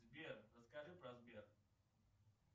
сбер расскажи про сбер